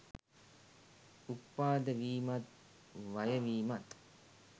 උප්පාද වීමත් වයවීමත්